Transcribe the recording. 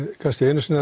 kannski einni